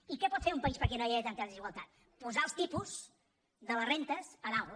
i què pot fer un país perquè no hi hagi tanta desigualtat posar els tipus de les rendes a dalt